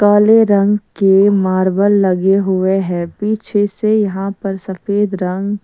काले रंग के मार्बल लगे हुए हैं पीछे से यहां पर सफेद रंग।